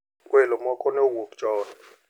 Welo moko ne owuok chon.